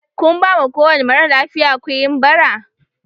Kun bama kowani maralafiya kuinn Bara?